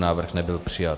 Návrh nebyl přijat.